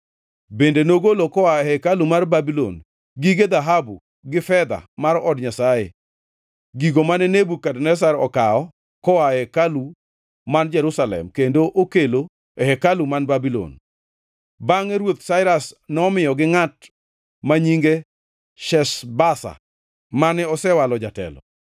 Bende nogolo koa e hekalu mar Babulon gige dhahabu gi fedha mar od Nyasaye, gigo mane Nebukadneza okawo koa e hekalu man Jerusalem kendo okelo e hekalu man Babulon. Bangʼe Ruoth Sairas nomiyogi ngʼat ma nyinge Sheshbaza, mane osewalo jatelo,